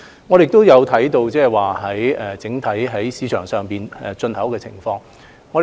我們也有留意整體市場上有關物資的進口情況。